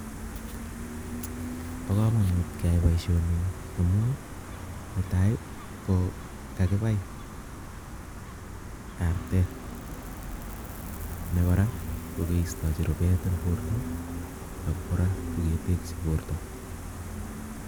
Bo kamanut keyai boishoni amu netai kokakipai artet ako kora kokeistaji rupet ako kora koketekji borto